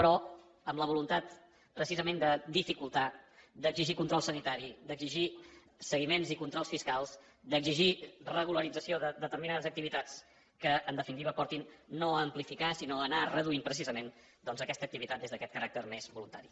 però amb la voluntat precisament de dificultar d’exigir control sanitari d’exigir seguiments i controls fiscals d’exigir regularització de determinades activitats que en definitiva portin no a amplificar sinó a anar reduint precisament aquesta activitat des d’aquest caràcter més voluntari